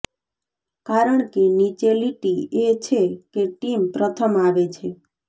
કારણ કે નીચે લીટી એ છે કે ટીમ પ્રથમ આવે છે